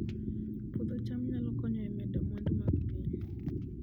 Puodho cham nyalo konyo e medo mwandu mag piny